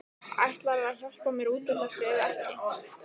Ætlarðu að hjálpa mér út úr þessu eða ekki?